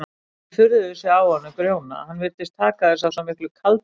Sumir furðuðu sig á honum Grjóna, hann virtist taka þessu af svo miklu kaldlyndi.